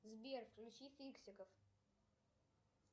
сбер включи фиксиков